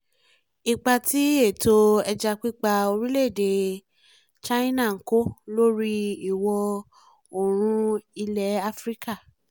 ipa tí ètò ẹja pípa orílẹ̀-èdè china ń kó lórí ìwọ̀ oòrùn ilẹ̀ afrika